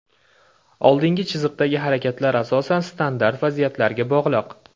Oldingi chiziqdagi harakatlar asosan standart vaziyatlariga bog‘liq.